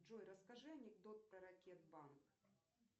джой расскажи анекдот про ракет банк